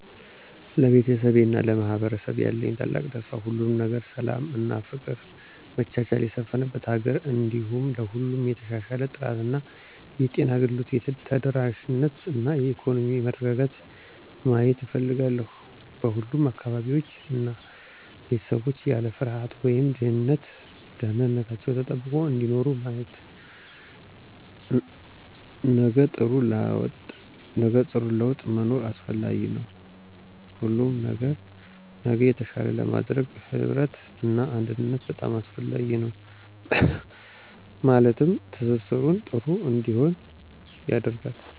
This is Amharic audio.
ለቤተሰቤ እና ለማህበረሰቡ ያለኝ ታላቅ ተስፋ ሁሉም ነገር ሰላም እና ፍቅር መቻቻል የሰፍነበት ሀገር እንዲሁም ለሁሉም የተሻሻለ ጥራት ያለው የጤና አገልግሎት ተደራሽነት እና የኢኮኖሚ መረጋጋትን ማየት እፍልጋለሁ። በሁሉም አካባቢዎች እና ቤተሰቦች ያለ ፍርሃት ወይም ድህነት ደህንንታችው ተጠብቆ እየኖሩ ማየት። ነገጥሩ ላወጥ መኖር አሰፍላጊ ነዉ ሁሉም ነገር ነገ የተሻለ ለማድረግ ህብረት እና አንድነት በጣም አሰፍላጊ ነው ማለትም ማህበራዊ ትሰሰርን ጥሩ እንዲሆን ያደርጋል።